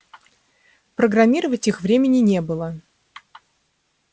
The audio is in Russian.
программировать их времени не было